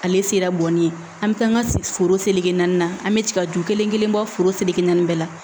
Ale sela bɔnni ye an bɛ taa an ka foro seleke naani na an bɛ jigi ka ju kelen kelen bɔ foro seleke naani bɛɛ la